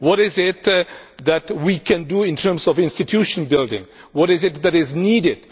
What is it that we can do in terms of institution building? What is it that is needed?